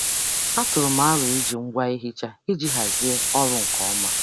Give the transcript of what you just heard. Atụrụ m aro iji ngwa ihicha iji hazie ọrụ nke ọma.